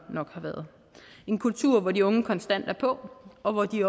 har været en kultur hvor de unge konstant er på og hvor de